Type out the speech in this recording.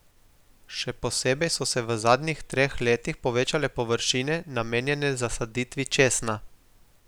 Še posebej so se v zadnjih treh letih povečale površine, namenjene zasaditvi česna.